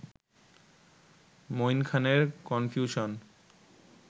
মঈন খানের কনফিউশন